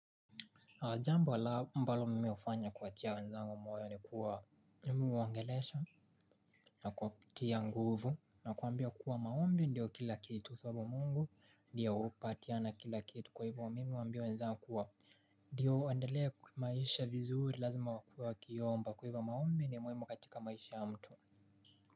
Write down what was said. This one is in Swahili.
Jambo ambalo mimi hufanya kuwatia wanzangu moyo ni kuwaongelesha. Na kuwapatia nguvu na kuwaambia kuwa maombi ndio kila kitu sababu mungu ndio hupatiana kila kitu. Kwa hivyo mimi huwambia wanzangu kuwa, ndio waendelee kwa maisha vizuri lazima wakuwe wakiomba. Kwa hivyo maombi ni muhimu katika maisha ya mtu.